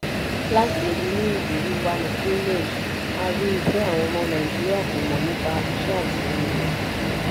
láti inú ìrírí wa ní greenage a rí i pé àwọn ọmọ nàìjíríà kò mọ̀ nípa iṣẹ́ àtìlẹyìn.